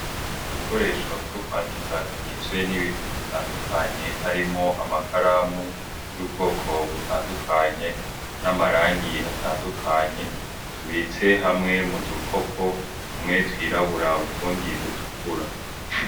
Udukoresho two kwandika tuwizwe n'ibintu bitandukanye harimo amakaramu y'ubwoko butandukanye n'amarangi atandukanye tubitse hamwe mu dukopo tumwe twirabura butundi dutukura.